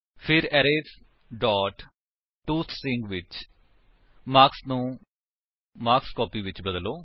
ਫਿਰ arrays dot to string ਵਿੱਚ marks ਨੂੰ ਮਾਰਕਸ ਕੋਪੀ ਵਿੱਚ ਬਦਲੋ